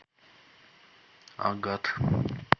агат